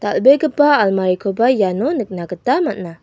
dal·begipa almarikoba iano nikna gita man·a.